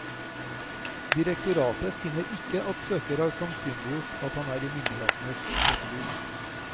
Direktoratet finner ikke at søker har sannsynliggjort at han er i myndighetenes søkelys.